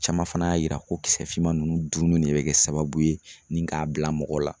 Caman fana y'a yira ko kisɛfinman ninnu dun de bɛ kɛ sababu ye ni k'a bila mɔgɔ la